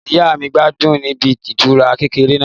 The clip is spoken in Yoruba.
Ìyá mi n gbádùn níbi ìtura kékeré náà